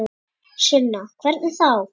Sunna: Hvernig þá?